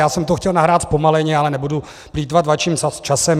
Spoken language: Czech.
Já jsem to chtěl nahrát zpomaleně, ale nebudu plýtvat vaším časem.